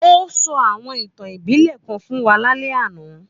Ó sọ àwọn ìtàn ìbílẹ̀ kan fún wa lálẹ́ àná